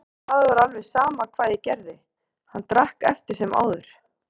En það var alveg sama hvað ég gerði, hann drakk eftir sem áður.